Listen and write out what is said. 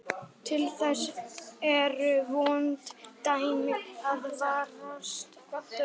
Andstætt íslensku hefur pólska aðeins eina formgerð viðtengingarháttar.